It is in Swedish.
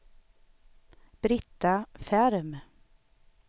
Britta Ferm